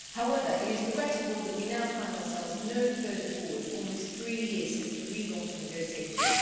However, it is regrettable that we now find ourselves no further forward, almost three years since the relaunch of negotiations.